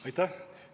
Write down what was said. Aitäh!